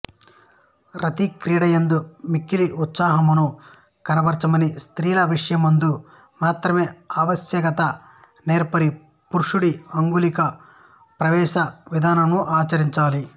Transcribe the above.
రతిక్రీడయందు మిక్కిలి ఉత్సుకతను కనబరచని స్త్రీల విషయమునందు మాత్రమే ఆవశ్యకత నెరిగి పురుషుడీ అంగుళీ ప్రవేశ విధానమును ఆచరించాలి